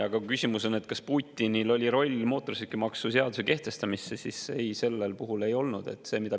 Aga kui küsimus on, kas Putinil oli roll mootorsõidukimaksu seaduse kehtestamisel, siis ei, sellel puhul ei olnud.